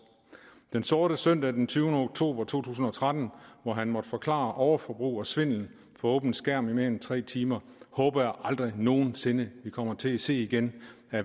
den sorte søndag den tyvende oktober to tusind og tretten hvor han måtte forklare overforbrug og svindel for åben skærm i mere end tre timer håber jeg aldrig nogen sinde vi kommer til at se igen